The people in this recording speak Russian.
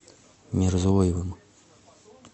мирзоевым